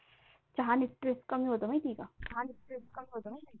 चहा नि Stress कमी होतं माहिती आहे का?